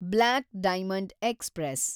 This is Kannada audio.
block diamond express